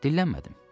Dillənmədim.